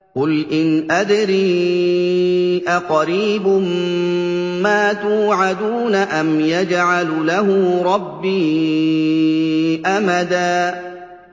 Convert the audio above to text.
قُلْ إِنْ أَدْرِي أَقَرِيبٌ مَّا تُوعَدُونَ أَمْ يَجْعَلُ لَهُ رَبِّي أَمَدًا